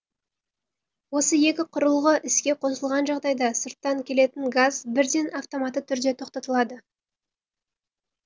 осы екі құрылғы іске қосылған жағдайда сырттан келетін газ бірден автоматты түрде тоқтатылады